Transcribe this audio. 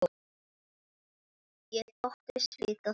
Ég þóttist vita það.